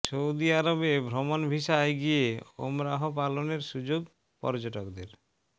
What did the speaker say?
Saudi আরবে ভ্রমণ ভিসায় গিয়ে ওমরাহ পালনের সুযোগ পর্যটকদের